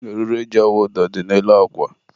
eriri e ji awụ ụdọ dị n'elu akwa.